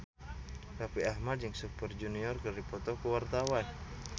Raffi Ahmad jeung Super Junior keur dipoto ku wartawan